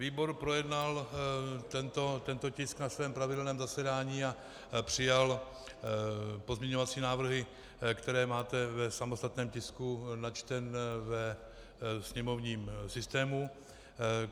Výbor projednal tento tisk na svém pravidelném zasedání a přijal pozměňovací návrhy, které máte v samostatném tisku načteném ve sněmovním systému.